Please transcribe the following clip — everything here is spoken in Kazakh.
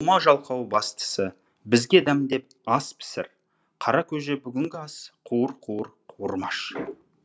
болма жалқау бастысы бізге дәмдеп ас пісір қара көже бүгінгі ас қуыр қуыр қуырмаш